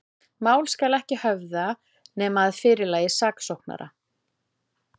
Mál skal ekki höfða, nema að fyrirlagi saksóknara.